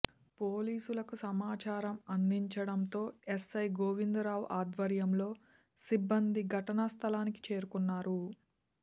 పోలీసులకు సమాచారం అందించడంతో ఎస్ఐ గోవిందరావు ఆధ్వర్యంలో సిబ్బంది ఘటనా స్థలానికి చేరుకున్నారు